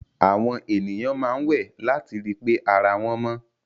Àwọn ènìyàn máa ń wẹ̀ láti ri pé ara wọn mọ́.